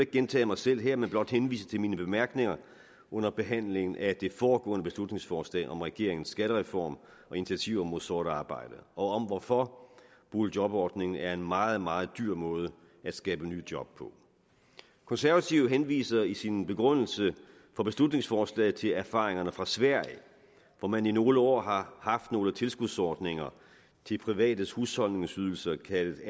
gentage mig selv her men blot henvise til mine bemærkninger under behandlingen af det foregående beslutningsforslag om regeringens skattereform og initiativer mod sort arbejde og om hvorfor boligjobordningen er en meget meget dyr måde at skabe nye job på konservative henviser i sin begrundelse for beslutningsforslaget til erfaringerne fra sverige hvor man i nogle år har haft nogle tilskudsordninger til privates husholdningsydelser kaldet